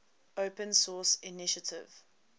open source initiative